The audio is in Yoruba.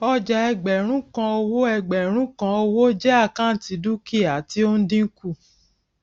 ọjà ẹgbẹrún kan owó ẹgbẹrún kan owó jẹ àkáǹtì dúkìá tí ó ń dínkù